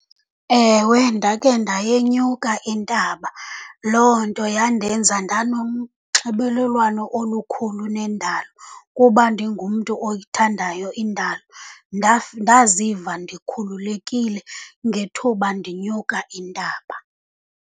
Ewe, ndakhe ndayenyuka intaba. Loo nto yandenza ndanonxibelelwano olukhulu nendalo kuba ndingumntu oyithandayo indalo. Ndaziva ndikhululekile ngethuba ndinyuka intaba.